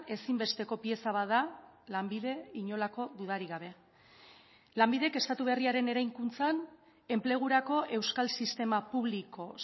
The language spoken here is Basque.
ezinbesteko pieza bat da lanbide inolako dudarik gabe lanbidek estatu berriaren eraikuntzan enplegurako euskal sistema publiko